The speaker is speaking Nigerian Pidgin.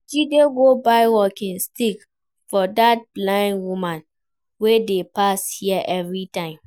Jide go buy walking stick for dat blind woman wey dey pass here everytime